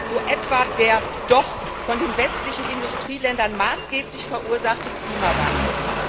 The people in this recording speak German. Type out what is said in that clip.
So etwa der doch von den westlichen Industrieländern maßgeblich verursachte Klimawandel.